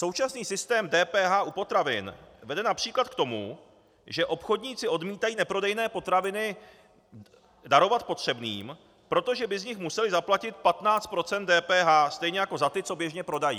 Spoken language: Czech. Současný systém DPH u potravin vede například k tomu, že obchodníci odmítají neprodejné potraviny darovat potřebným, protože by z nich museli zaplatit 15 % DPH, stejně jako za ty, co běžně prodají.